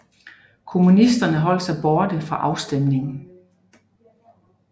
Kommunisterne holdt sig borte fra afstemningen